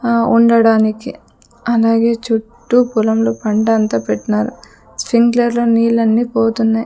ఆ ఉండడానికి అలాగే చుట్టూ పొలంలో పంట అంతా పెట్నారు స్ప్రింక్లర్ లో నీళ్లన్నీ పోతున్నాయ్.